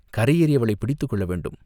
கரையேறி அவளைப் பிடித்துக் கொள்ளவேண்டும்.